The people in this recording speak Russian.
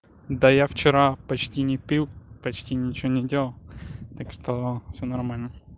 да я вчера почти не пил почти ничего не делал так что все нормально